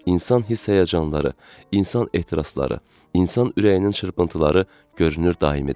İnsan hiss-həyəcanları, insan ehtirasları, insan ürəyinin çırpıntıları görünür daimidir.